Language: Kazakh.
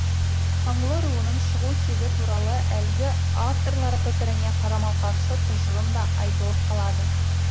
қаңлы руының шығу тегі туралы әлгі авторлар пікіріне қарама қарсы тұжырым да айтылып қалады